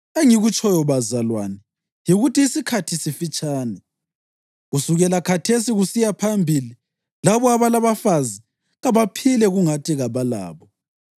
Engikutshoyo, bazalwane, yikuthi isikhathi sifitshane. Kusukela khathesi kusiya phambili labo abalabafazi kabaphile kungathi kabalabo: